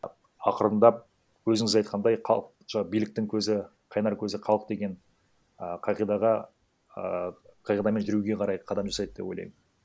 ақырындап өзіңіз айтқандай биліктің көзі қайнар көзі халық деген а қағидаға а қағидамен жүруге қарай қадам жасайды деп ойлаймын